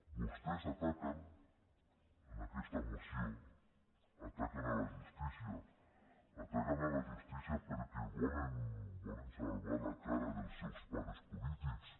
vostès ataquen en aquesta moció la justícia ataquen la justícia perquè volen salvar la cara dels seus pares polítics